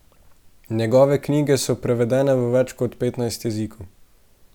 Njegove knjige so prevedene v več kot petnajst jezikov.